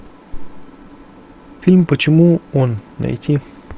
фильм почему он найти